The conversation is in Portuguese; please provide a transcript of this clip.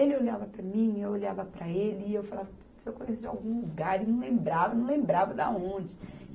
Ele olhava para mim, eu olhava para ele e eu falava puts, eu conheço de algum lugar e não lembrava, não lembrava da onde.